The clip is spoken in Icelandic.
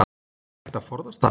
Er hægt að forðast það?